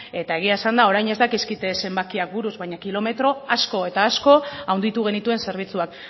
eta egia esanda orain ez dakizkit zenbakiak buruz baina kilometro asko eta asko handitu genituen zerbitzuak